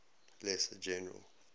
lesser general